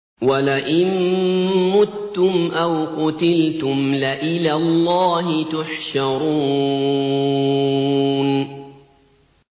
وَلَئِن مُّتُّمْ أَوْ قُتِلْتُمْ لَإِلَى اللَّهِ تُحْشَرُونَ